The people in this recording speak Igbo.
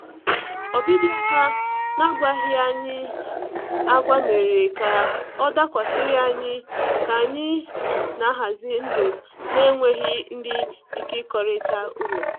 Ọbịbịa ha n’agwaghị anyi agwa mere ka ọ dakwasịrị anyị ka anyị na-ahazi ndụ na-enweghị ndị ịkekọrịta ụlọ.